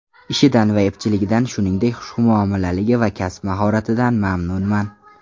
Ishidan va epchilligidan, shuningdek, xushmuomalaligi va kasb mahoratidan mamnunman!